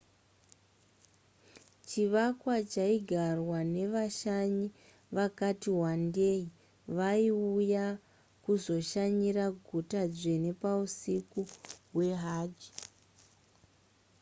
chivakwa chaigarwa nevashanyi vakati wandei vaiuya kuzoshanyira guta dzvene pausiku hwehajj